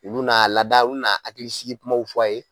U bi n'a lada u bi na hakili sigikumaw fɔ a ye